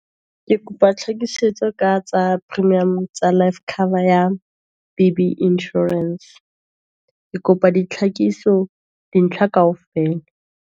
Ke kopa tlhakisetso ka tsa premium tsa life cover, ya BBinsurance. Ke kopa di tlhakiso, dintlha ka ofela.